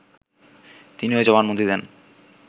তিনি ওই জবানবন্দি দেন